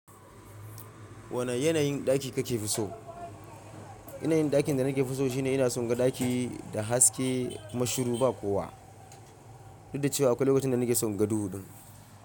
Wane yanayin ɗaki kake so? Yanayin ɗakin da naki fiso shine ina son ga ɗaki da haske, kuma mashiru ba kowa. Duk da cewa akwai lokacin da nake son naga huɗu din.